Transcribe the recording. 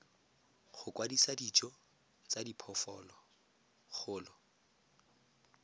go kwadisa dijo tsa diphologolo